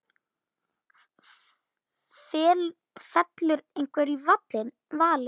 Fellur einhver í valinn?